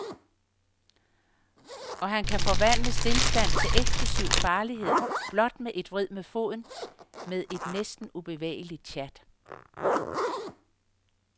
Og han kan forvandle stilstand til eksplosiv farlighed blot med et vrid med foden, med et næsten ubevægeligt tjat.